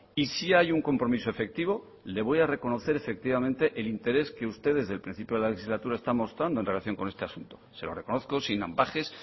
y sí hay un compromiso efectivo y le voy a reconocer efectivamente el interés que usted desde el principio de la legislatura está mostrando en relación con este asunto se lo reconozco sin ambages